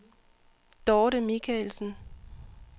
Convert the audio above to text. Dorte Michaelsen